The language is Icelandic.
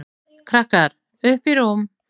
Krakkar: Uppi í rúmi.